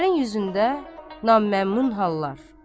Xavərin üzündə naməmnun hallar.